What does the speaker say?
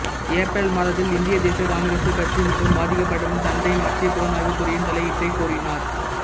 April மாதத்தில் இந்திய தேசிய காங்கிரசுக் கட்சி மற்றும் பாதிக்கப்பட்டவரின் தந்தை மத்திய புலனாய்வுத் துறையின் தலையீட்டைக் கோரினர்